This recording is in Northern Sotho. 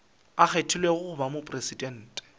a kgethilwego go ba mopresidente